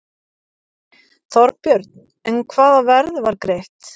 Þorbjörn: En hvaða verð var greitt?